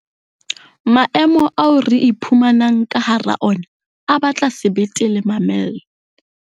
Maemo ao re iphumanang ka hara ona a batla sebete le mamello.